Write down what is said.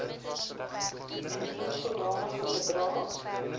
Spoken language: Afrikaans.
indien sodanige bedrae